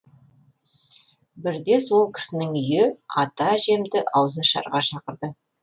бірде сол кісінің үйі ата әжемді ауызашарға шақырды